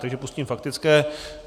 Takže pustím faktické.